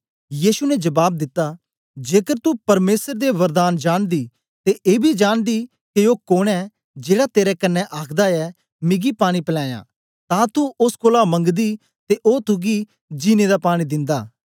यीशु ने जबाब दिता जेकर तू परमेसर दे वरदान जानदी ते एबी जानदी के ओ कोन ऐ जेड़ा तेरे कन्ने आखदा ऐ मिगी पानी पलया तां तू ओस कोलां मंगदी ते ओ तुगी जिन्नें दा पानी दिंदा